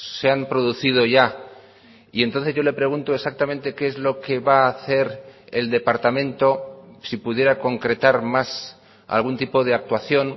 se han producido ya y entonces yo le pregunto exactamente qué es lo que va a hacer el departamento si pudiera concretar más algún tipo de actuación